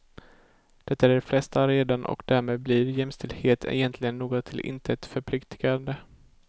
Det är de flesta redan och därmed blir jämställdhet egentligen något till intet förpliktigande.